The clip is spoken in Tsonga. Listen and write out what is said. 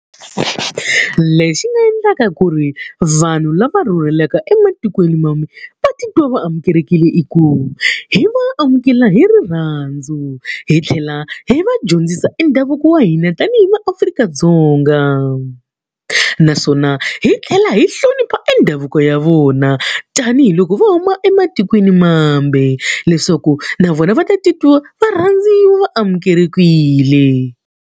Lexi nga endlaka ku ri vanhu lava rhurhelaka ematikweni mambe va titwa va amukelekile i ku, hi va amukela hi rirhandzu hi tlhela hi va dyondzisa e ndhavuko wa hina tanihi va Afrika-Dzonga. Naswona hi tlhela hi hlonipha endhavuko ya vona tanihiloko va huma ematikweni mambe, leswaku na vona va ta titwa va rhandziwa va amukelekile.